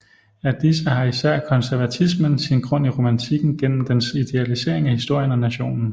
Af disse har især konservatismen sin grund i romantikken gennem dens idealisering af historien og nationen